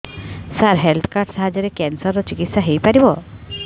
ସାର health card ସାହାଯ୍ୟରେ cancer ର ଚିକିତ୍ସା ହେଇପାରିବ